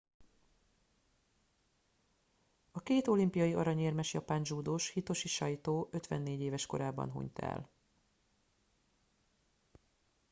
a két olimpiai aranyérmes japán dzsúdós hitoshi saito 54 éves korában hunyt el